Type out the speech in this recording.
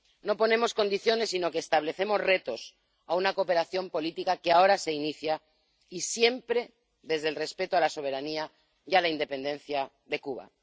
No ponemos condiciones, sino que establecemos retos a una cooperación política que ahora se inicia, y siempre desde el respeto a la soberanía y a la independencia de Cuba.